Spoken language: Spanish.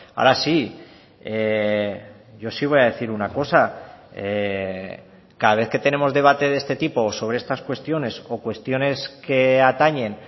ahora sí yo sí voy a decir una cosa cada vez que tenemos debate de este tipo sobre estas cuestiones o cuestiones que atañen